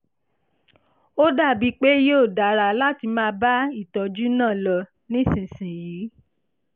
ó dàbí pé yóò dára láti máa bá ìtọ́jú náà lọ nísinsìnyí